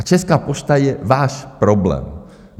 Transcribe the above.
A Česká pošta je váš problém.